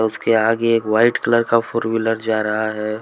उसके आगे एक वाईट कलर का फोर व्हीलर जा रहा है।